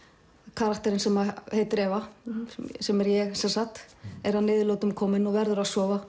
karakterinn sem heitir Eva sem er ég sem sagt er að niðurlotum komin og verður að sofa